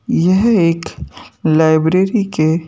यह एक लाइब्रेरी के--